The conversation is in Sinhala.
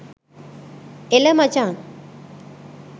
එල මචං